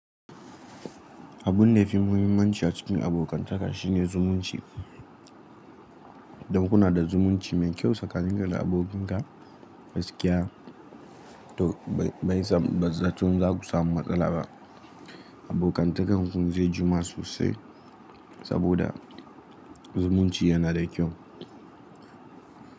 Abun da ya fi muhimmanci a cikin abokantaka shine zumunci. Don kuna da zumunci mai kyau tsakanin ka da abokinka, gaskiya to ba zan ce mun za ku samu matsala ba. Abokantakan kun zai jima sosai saboda zumunci yana da kyau.